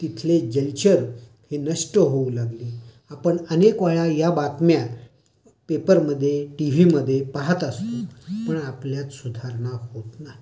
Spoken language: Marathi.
तिथले जलचर हे नष्ट होऊ लागले. आपण अनेक वेळा या बातम्या पेपर मध्ये टीव्हीमध्ये पाहत असतो. पण आपल्यात सुधारणा होत नाही.